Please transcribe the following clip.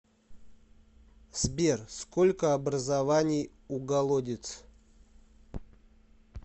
сбер сколько образований у голодец